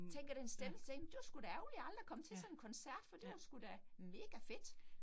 Tænker den stemme sådan det var sgu da ærgerligt, jeg aldrig kom til sådan en koncert, for det var sgu da megafedt